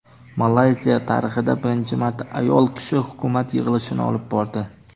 Malayziya tarixida birinchi marta ayol kishi hukumat yig‘ilishini olib bordi.